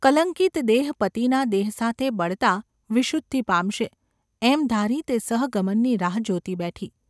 કલંકિત દેહ પતિના દેહ સાથે બળતાં વિશુદ્ધિ પામશે એમ ધારી તે સહગમનની રાહ જોતી બેઠી.